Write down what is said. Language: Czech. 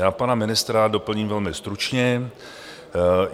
Já pana ministra doplním velmi stručně.